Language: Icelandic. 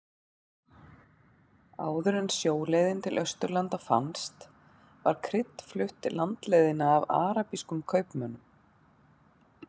Áður en sjóleiðin til Austurlanda fannst var krydd flutt landleiðina af arabískum kaupmönnum.